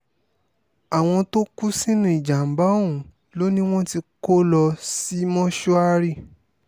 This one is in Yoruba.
àwọn tó kú sínú ìjàm̀bá ọ̀hún ló ní wọ́n tí kò lọ sí mọ́ṣúárì